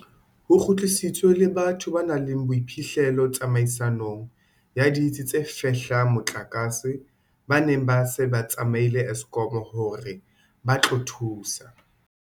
Ho kgutlisitswe le batho ba nang le boiphihlelo tsamaisong ya ditsi tse fehlang motlakase ba neng ba se ba tsamaile Eskom hore ba tlo thusa.